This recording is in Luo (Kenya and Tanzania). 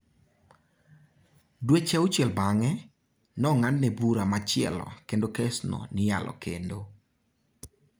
Dweche auchiel bang'e, nong'adne bura machielo kendo kes no ni yalo kendo.